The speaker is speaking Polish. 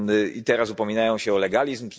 I teraz upominają się o legalizm?